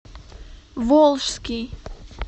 волжский